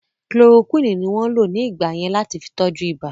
Kulorokúwínì ní wọ́n lò ní ìgbà yẹn láti fi tọ́jú ìbà